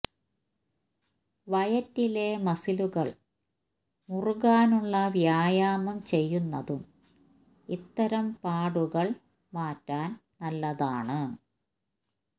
വയറ്റിലെ മസിലുകള് മുറുകാനുള്ള വ്യായാമം ചെയ്യുന്നതും ഇത്തരം പാടുകള് മാറ്റാന് നല്ലതാണ്